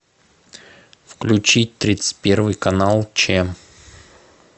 включи тридцать первый канал че